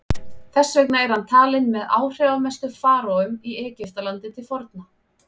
þess vegna er hann talinn með áhrifamestu faraóum í egyptalandi til forna